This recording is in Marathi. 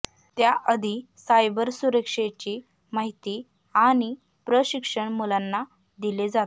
त्याआधी सायबर सुरक्षेची माहिती आणि प्रशिक्षण मुलांना दिले जाते